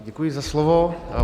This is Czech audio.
Děkuji za slovo.